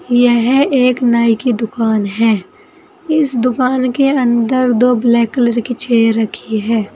यह एक नाई की दुकान है इस दुकान के अंदर दो कलर की चेयर रखी है।